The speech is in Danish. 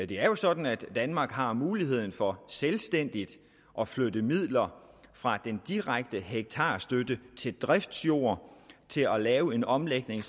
det er jo sådan at danmark har muligheden for selvstændigt at flytte midler fra den direkte hektarstøtte til driftsjord til at lave en omlægning